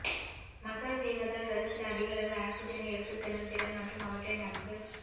massage செய்வதால் ரத்தத்தில் அதிகளவில் ஆக்சிஜனை எடுத்துச் செல்லும் திறன் மற்றும் அவற்றை நன்கு